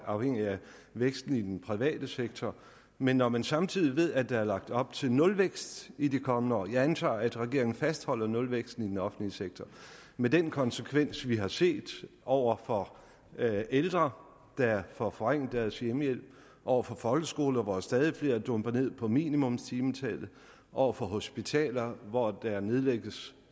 afhængig af væksten i den private sektor men når man samtidig ved at der er lagt op til nulvækst i de kommende år jeg antager at regeringen fastholder nulvæksten i den offentlige sektor med den konsekvens vi har set over for ældre der får forringet deres hjemmehjælp over for folkeskoler hvor stadig flere dumper ned på minimumstimetallet over for hospitaler hvor der fortsat nedlægges